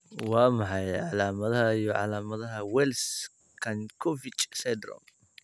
Waa maxay calaamadaha iyo calaamadaha Wells Jankovic syndrome?